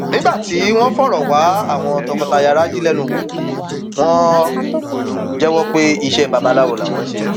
nígbà tí wọn ń fọrọ wá àwọn tọkọtaya raji lẹnu wò wọn jẹwọ pé iṣẹ babaláwo làwọn ń ṣe